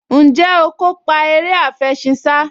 Ǹjẹ́ o kópa eré àfẹṣinsá?